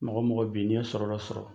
Mɔgɔ mɔgɔ b'i , n'i ye sɔrɔ dɔ sɔrɔ